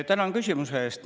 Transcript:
Tänan küsimuse eest!